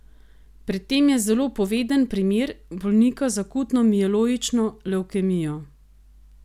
Pri tem je zelo poveden primer bolnika z akutno mieloično levkemijo.